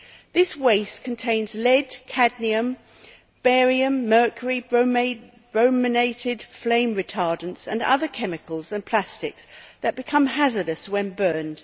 This waste contains lead, cadmium, barium, mercury, brominated flame retardants and other chemicals and plastics that become hazardous when burned.